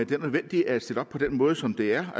det er nødvendigt at stille det op på den måde som det er